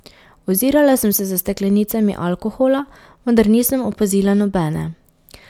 Ozirala sem se za steklenicami alkohola, vendar nisem opazila nobene.